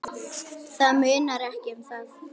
Það munar ekki um það!